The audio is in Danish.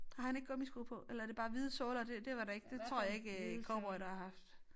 Har han ikke gummisko på eller er det bare hvide sorte og det det var der ikke det tror jeg ikke øh cowboydere har haft